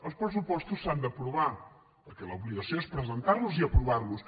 els pressupostos s’han d’aprovar perquè l’obli·gació és presentar·los i aprovar·los